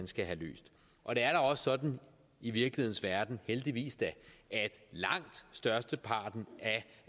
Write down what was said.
skal løses og det er da også sådan i virkelighedens verden heldigvis da at langt størsteparten